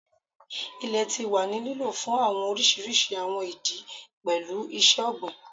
Ilẹ ti wa ni lilo fun awọn oriṣiriṣi awọn idi, pẹlu iṣẹ-ogbin